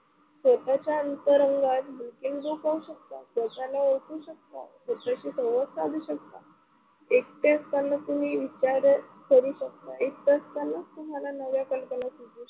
स्वतःचा अंतरंगात पाहू शकता, स्वतःला ओळखू शकता, स्वतःशी संवाद साधु शकता. एकटे असताना तुम्ही विचार करू शकता, एकट असतानाच तुम्हाला नव्या कल्पना सुचू शकतात.